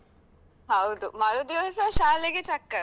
ಹೌದು ಮರುದಿವಸ ಶಾಲೆಗೇ ಚಕ್ಕರ್.